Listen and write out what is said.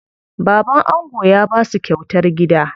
Baban ango ya basu kyautar gida.